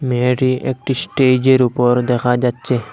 মেয়েটি একটি স্টেজের উপর দেখা যাচ্ছে।